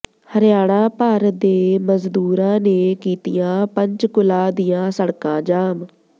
ਹਰਿਆਣਾ ਭਰ ਦੇ ਮਜ਼ਦੂਰਾਂ ਨੇ ਕੀਤੀਆਂ ਪੰਚਕੂਲਾ ਦੀਆਂ ਸੜਕਾਂ ਜਾਮ